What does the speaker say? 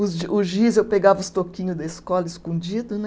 Os gi, o giz, eu pegava os toquinhos da escola escondido, né?